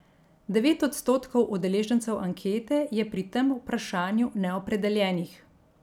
Devet odstotkov udeležencev ankete je pri tem vprašanju neopredeljenih.